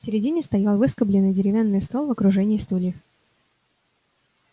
в середине стоял выскобленный деревянный стол в окружении стульев